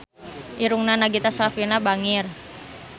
Irungna Nagita Slavina bangir